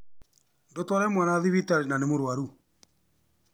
Ndũ tware mwana thibitarĩ na nĩ mũrwarũ